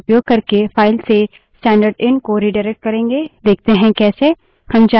हम <left angle bracket operator का उपयोग करके file से स्टैन्डर्डएन stdin को redirect करेंगे देखते है कैसे